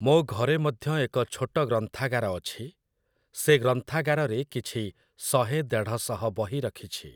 ମୋ ଘରେ ମଧ୍ୟ ଏକ ଛୋଟ ଗ୍ରନ୍ଥାଗାର ଅଛି । ସେ ଗ୍ରନ୍ଥାଗାରରେ କିଛି ଶହେ ଦେଢ଼ଶହ ବହି ରଖିଛି ।